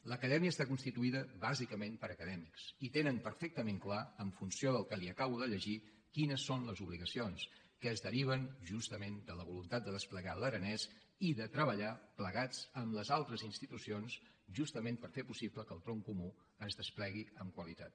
l’acadèmia està constituïda bàsicament per acadèmics i tenen perfectament clar en funció del que li acabo de llegir quines són les obligacions que es deriven justament de la voluntat de desplegar l’aranès i de treballar plegats amb les altres institucions justament per fer possible que el tronc comú es desplegui amb qualitat